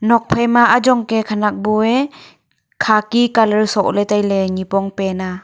nokphai ma ajong kya khenek bu a khaki colour sokle tailey nipong pant a.